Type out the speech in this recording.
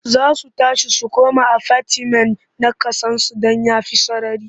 Za su tashi su koma afatimen na ƙasansu don ya fi sarari.